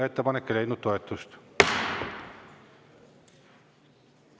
Ettepanek ei leidnud toetust.